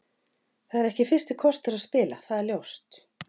Það er ekki fyrsti kostur að spila, það er ljóst.